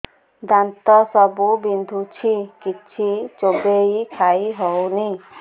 ଦାନ୍ତ ସବୁ ବିନ୍ଧୁଛି କିଛି ଚୋବେଇ ଖାଇ ହଉନି